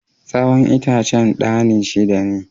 Tsawon itacen ɗani shida ne.